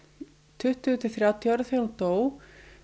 tuttugu til þrjátíu ára þegar hún dó